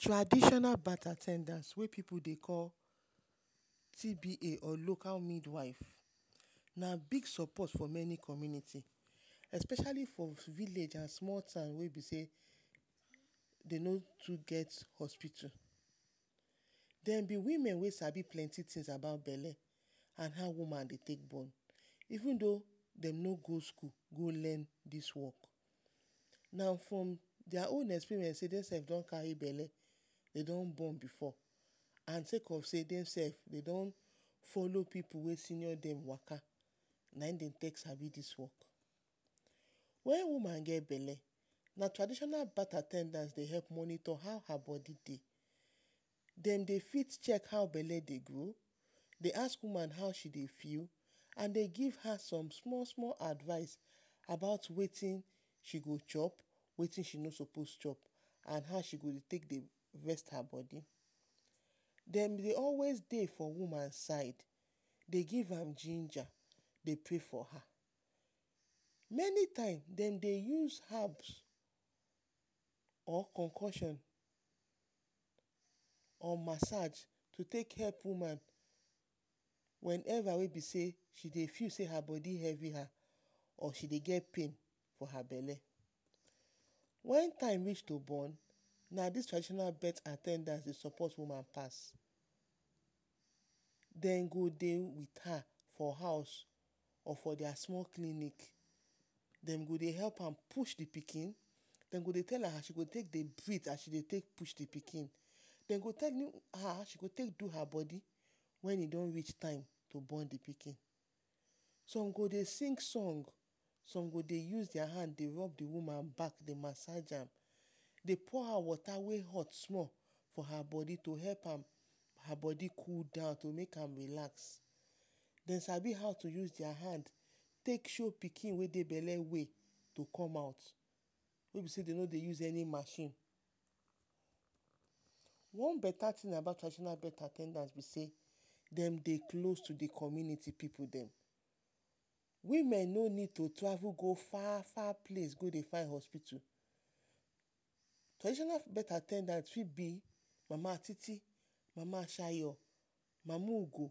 Traditional birth at ten dance wey pipu dey call TBA or local mid wife. Na big sopot for meni community especiali for village and small town wey be sey de no too get hospitu. Dem be women wey sabi plenti tin about bele and how woman dey take bon even though dey no go skul go learn dis work. Na for dia own experience base on sey de don kari bele, de don bon before, na the sake of sey de don folo pipu wey senior dem waka na in dem take sabi dis one. Wen woman get bele, na traditional birth at ten dance dey help monitor how her bodi dey, dem dey fit chek how bele dey grow, dey ask woman how she dey feel, dey give her som small-small advice about wetin she go chop and wetin she no sopos chop. And how she go take dey rest her bodi. Dem dey always dey for woman side, dey give am ginger, dey prey for her. Meni times, dem dey use habs or konkosion or masaj to take help woman weneva wey be sey she dey feel sey her bodi hevi her or she dey get pain for her bele, wen time reach to born, na dis traditional birth at ten dance dey sopot woman pass, dem go dey wait her for house or dia small clinic, dem go dey help am push the pikin, dem go dey tell am as she dey take dey hit, dey take push the pikin. De go dey tell her how she go take do her bodi wen e don rich time to bon the pikin. Som go dey sing song, som go dey use dia hand to rob the woman back, dey masaj am, dey pour am wota wey host small for her bodi to help am, her bodi cool down to make am relax. Den sabi how to use dia hand take show pikin wey dey bele way to come out. Wey be sey de no dey use any machine. One tin about traditional birth at ten dance be sey dem dey close to the community pipu dem. Women no need to travel go far-far place go dey find hospital. Traditional birth at ten dance fit be mama titi, mama shayo, mama ugo